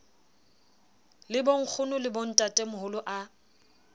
le bonkgono le bontatemoholo a